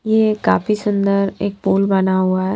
ये काफी सुंदर एक पोल बना हुआ है।